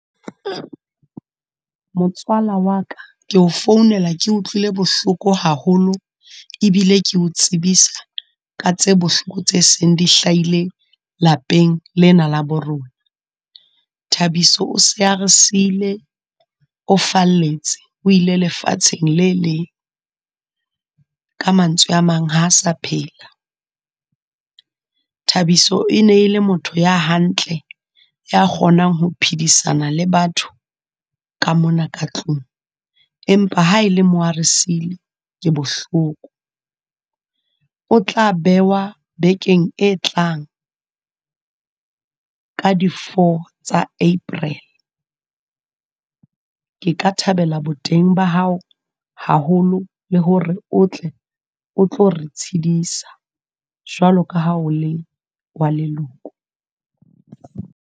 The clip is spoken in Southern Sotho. Motswala wa ka, ke o founela ke utlwile bohloko haholo, ebile ke o tsebisa ka tse bohloko tse seng di hlaile lapeng lena la bo rona. Thabiso o se a re siile, o falletse, o ile lefatsheng le leng. Ka mantswe a mang ha a sa phela. Thabiso e ne e le motho ya hantle, ya kgonang ho phedisana le batho ka mona ka tlung, empa ha e le mo a re siile, ke bohloko. O tla bewa bekeng e tlang ka di four tsa April, Ke ka thabela boteng ba hao haholo le hore o tle o tlo re tshedisa, jwale ka ha o le wa leloko.